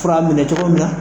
Fura minɛ cogo min na